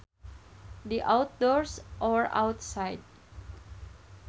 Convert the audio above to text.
The outdoors or outside